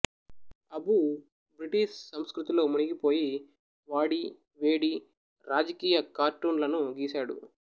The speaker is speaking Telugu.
అబూ బ్రిటిష్ సంస్కృతిలో మునిగిపోయి వాడి వేడి రాజకీయ కార్టూన్లను గీశాడు